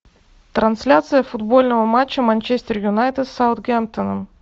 трансляция футбольного матча манчестер юнайтед с саутгемптоном